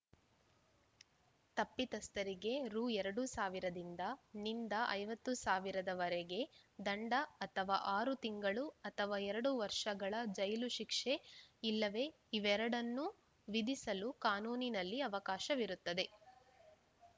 ತಪ್ಪಿತಸ್ಥರಿಗೆ ರು ಇಪ್ಪತ್ತು ಸಾವಿರದಿಂದ ನಿಂದ ಐವತ್ತು ಸಾವಿರದವರೆಗೆ ದಂಡ ಅಥವ ಆರು ತಿಂಗಳು ಅಥವ ಎರಡು ವರ್ಷಗಳ ಜೈಲು ಶಿಕ್ಷೆ ಇಲ್ಲವೆ ಇವೆರೆಡನ್ನು ವಿಧಿಸಲು ಕಾನೂನಿನಲ್ಲಿ ಅವಕಾಶವಿರುತ್ತದೆ